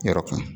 Yɔrɔ kan